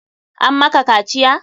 An maka kaciya?